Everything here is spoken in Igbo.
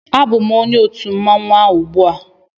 Abụm onye otu mmanwụ a ugbua